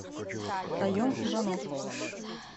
хаем иванов